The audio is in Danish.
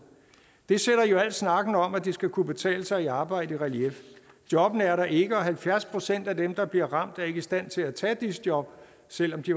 det sætter jo al snakken om at det skal kunne betale sig at arbejde i relief jobbene er der ikke og halvfjerds procent af dem der bliver ramt er ikke i stand til at tage disse jobs selv om de